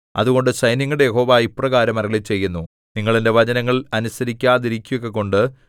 അതുകൊണ്ട് സൈന്യങ്ങളുടെ യഹോവ ഇപ്രകാരം അരുളിച്ചെയ്യുന്നു നിങ്ങൾ എന്റെ വചനങ്ങൾ അനുസരിക്കാതിരിക്കുകകൊണ്ട്